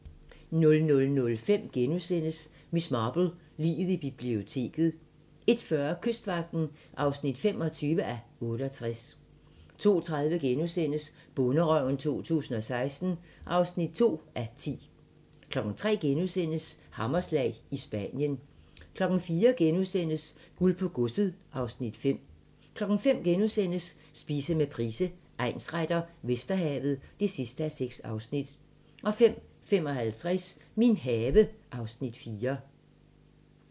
00:05: Miss Marple: Liget i biblioteket * 01:40: Kystvagten (25:68) 02:30: Bonderøven 2016 (2:10)* 03:00: Hammerslag – i Spanien * 04:00: Guld på godset (Afs. 5)* 05:00: Spise med Price, egnsretter: Vesterhavet (6:6)* 05:55: Min have (Afs. 4)